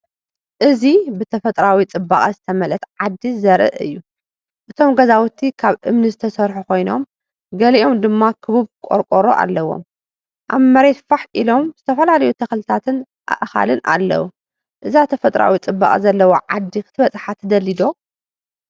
እዚ ብተፈጥሮኣዊ ጽባቐ ዝተመልአት ዓዲ ዘርኢ እዩ። እቶም ገዛውቲ ካብ እምኒ ዝተሰርሑ ኮይኖም ገሊኦም ድማ ክቡብ ቆርቆሮ ኣለዎም። ኣብ መሬት ፋሕ ኢሎም ዝተፈላለዩ ተኽልታትን ኣእካልን ኣለዉ። እዛ ተፈጥሮኣዊ ጽባቐ ዘለዋ ዓዲ ክትበጽሓ ትደሊ ዶ?